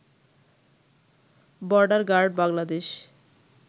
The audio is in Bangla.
border guard Bangladesh